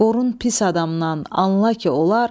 Qorun pis adamdan, anla ki, olar.